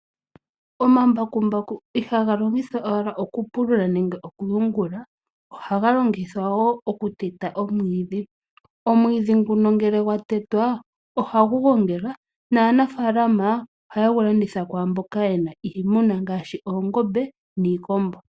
Omambakumbaku ihaga longithwa owala oku pulula nenge oku yungula, ohaga longithwa wo oku teta omwiidhi. Omwiidhi nguno ngele gwa tetwa, ohagu gongelwa naanafaalama ohaye gu landitha kwaamboka yena iimuna ngaashi oongombe niikombo.